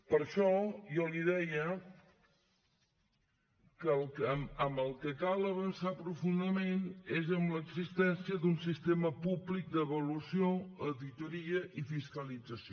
per això jo li deia que en el que cal avançar profundament és en l’existència d’un sistema públic d’avaluació auditoria i fiscalització